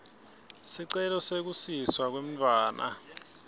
sicelo sekusiswa kwemntfwana